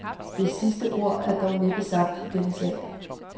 Det sidste ord er dog næppe sagt i den sag.